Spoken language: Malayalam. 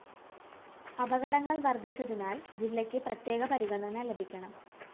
അപകടങ്ങള്‍ വര്‍ധിച്ചതിനാല്‍ ജില്ലയ്ക്ക് പ്രത്യേക പരിഗണന ലഭിക്കണം